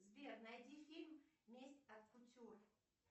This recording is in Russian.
сбер найди фильм месть от кутюр